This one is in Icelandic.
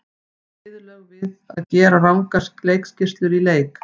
Viðurlög við að gera rangar leikskýrslur í leik?